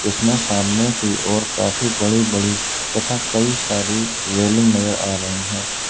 इसमें सामने की ओर काफी बड़ी बड़ी तथा कई सारी रेलिंग नजर आ रही हैं।